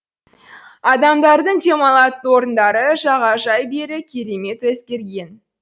адамдардың демалатын орындары жағажай бәрі керемет өзгерген